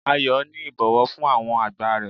Ayo ni ibowo fun awon agba re